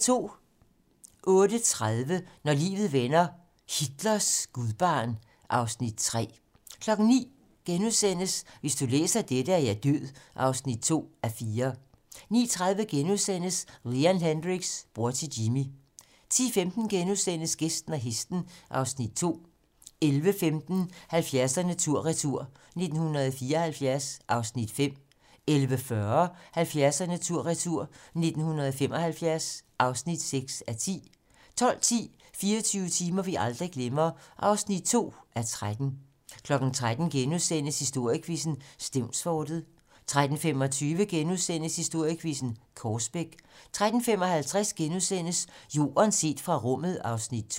08:30: Når livet vender - Hitlers gudbarn (Afs. 3) 09:00: Hvis du læser dette, er jeg død (2:4)* 09:30: Leon Hendrix - bror til Jimi * 10:15: Gæsten og hesten (Afs. 2)* 11:15: 70'erne tur retur: 1974 (5:10) 11:40: 70'erne tur retur: 1975 (6:10) 12:10: 24 timer, vi aldrig glemmer (2:13) 13:00: Historiequizzen: Stevnsfortet * 13:25: Historiequizzen: Korsbæk * 13:55: Jorden set fra rummet (Afs. 2)*